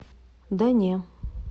да не